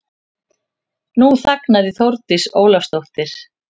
Nú þagnaði Þórdís Ólafsdóttir.